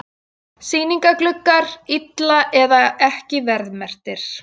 Sýningargluggar illa eða ekki verðmerktir